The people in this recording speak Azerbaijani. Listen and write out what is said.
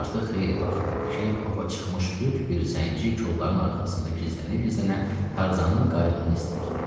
Artıq xeyli vaxt idi ki, ova çıxmış lüt bir zənci kolların arxasında gizlənə-gizlənə Tarzanın qayığını izləyirdi.